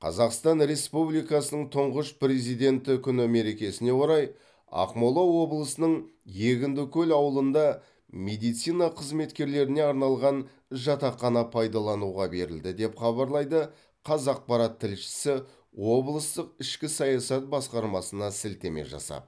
қазақстан республикасы тұңғыш президенті күні мерекесіне орай ақмола облысының егіндікөл ауылында медицина қызметкерлеріне арналған жатақхана пайдалануға берілді деп хабарлайды қазақпарат тілшісі облыстық ішкі саясат басқармасына сілтеме жасап